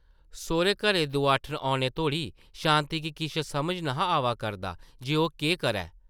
सौह्रे-घरै दोआठन औने तोड़ी शांति गी किश समझ ने’हा आवा करदा जे ओह् केह् करै ।